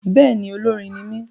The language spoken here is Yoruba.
Bẹ́ẹ̀ni, olórin ní mí